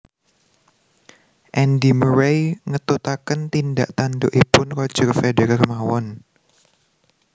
Andi Murray ngetutaken tindak tandukipun Roger Federer mawon